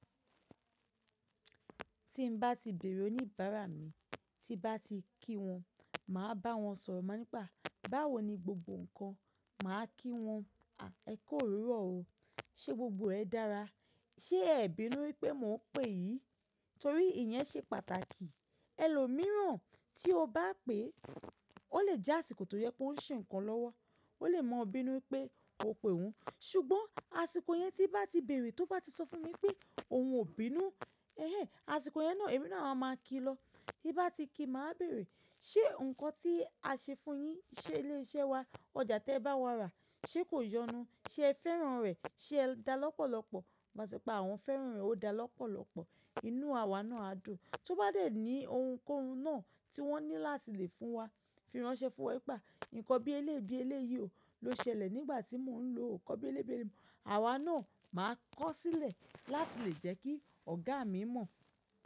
Tí nbá ti bèèrè oníbàárà mi, tí bá ti kí wọn, màá bá wọn sọ̀rọ̀ máa nípe a báwo ni gbogbo ǹkan. Màá kí wọn, “Èku òwúrọ̀ o. Ṣé gbogbo rẹ dára? Ṣé ẹ bínú wípé mo ń pè yìn?” Torí ìyẹ́n ṣe pàtàkì. Ẹlòmíràn tí o bá pè, ó lè jẹ́ àsìkò tó jẹ pó ń ṣe ǹkan lọ́wọ́. Ó lè mọ bí inú wípé o pè ọ́hun. Ṣùgbọ́n àsìkò yẹn tí bá ti bèèrè, tó bá ti sọ fún mi pé òun ò bínú, eh, àsìkò yẹn náà, èmi náà a máa ki lọ. Bí bá ti ki, màá bẹ̀ẹ̀rẹ̀. “Ṣé ǹkan tí a ṣe fún un yín, ṣé ilé iṣẹ́ wa, ọjà tí ẹ bá wa rà, ṣe kò yọnu? Ṣé ẹ fẹ́ràn rẹ̀? Ṣé ẹ dá lọ́pọ̀lọpọ̀?” Máa sọ pé àwọn fẹ́ràn rẹ̀ ó dá lọ́pọ̀lọpọ̀. Inú àwa náà á dùn. Tó bá dé ní ohunkóhun náà tí wọ́n ní láti lè fún wa, fi ránṣẹ́ fún wọn wípé nǹkan bí elébi eléyi ló ṣẹlẹ̀ nígbà tí mò ń lo nǹkan bí elébi eléyi. Àwa náà máa kọ́ sílẹ̀ láti lè jẹ́ kí ọ̀gá mi mọ̀.